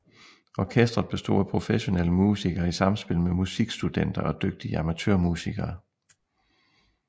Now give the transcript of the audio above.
Orkestret bestod af professionelle musikere i samspil med musikstudenter og dygtige amatørmusikere